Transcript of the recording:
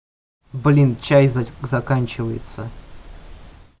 блин чай заканчивается